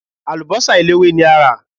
Àlùbọ́sà eléwé ni a rà.